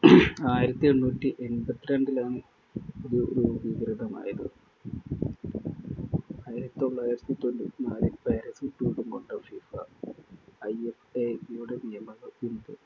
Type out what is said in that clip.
ആയിരത്തി എണ്ണൂറ്റി എണ്‍പത്തിരണ്ടിലാണ് ഇത് രൂ~രൂപികൃതമായത്. ആയിരത്തി തൊള്ളായിരത്തി തൊണ്ണൂറ്റിനാലില്‍ പാരിസില്‍ രൂപം കൊണ്ട FIFA IFAB യുടെ നിയമങ്ങള്‍ പിന്തു~